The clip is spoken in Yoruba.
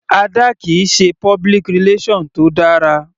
Ada kìí ṣe public relation tó dára.